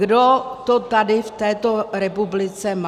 Kdo to tady v této republice má?